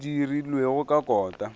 yeo e dirilwego ka kota